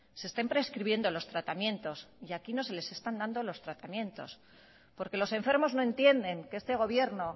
se estén prescribiendo los tratamientos y aquí no se les están dando los tratamientos porque los enfermos no entienden que este gobierno